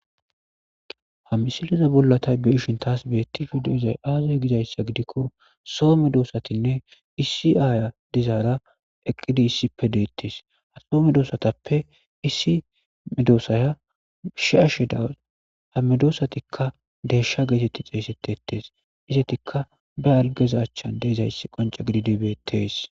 ha misiliza bollatay beishin taas beetti fiduzay aazay gizayssa gidikko soome doosatinne iisi aaya dizaara eqqidi issippe deettes atoome doosatappe issi ame doossaya shi'ashe daws ha medoossatikka deeshsha geetetti xeeysettetes izetikka ba algeza chchan deezayssi qonca gidi dibeettees